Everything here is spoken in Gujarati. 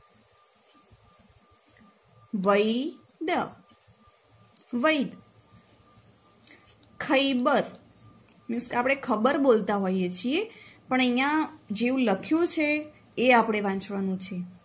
વૈ દ વૈદ ખૈબર means કે આપણે ખબર બોલતા હોઈએ છીએ પણ અહિયાં જેવુ લખ્યું છે એ આપણે વાંચવાનું છે.